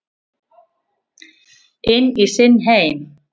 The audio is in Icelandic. Inn í sinn heim.